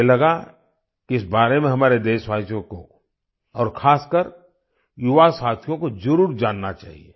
मुझे लगा कि इस बारे में हमारे देशवासियों को और खासकर युवा साथियों को ज़रूर जानना चाहिए